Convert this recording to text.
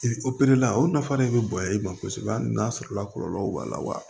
opereli la o nafa de bɛ bonya i ma kosɛbɛ hali n'a sɔrɔla kɔlɔlɔ b'a la wa